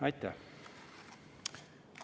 Aitäh!